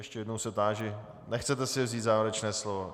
Ještě jednou se táži: Nechcete si vzít závěrečné slovo?